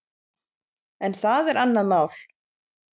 En það er annað mál.